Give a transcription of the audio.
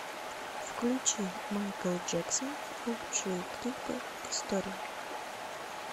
включи майкл джексон лучшие клипы истории